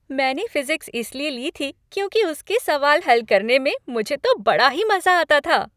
मैंने फ़िज़िक्स इसलिए ली थी, क्योंकि उसके सवाल हल करने में मुझे तो बड़ा ही मज़ा आता था।